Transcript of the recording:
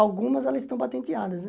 Algumas elas estão patenteadas, né?